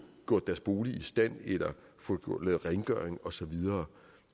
gjort deres bolig i stand få lavet rengøring og så videre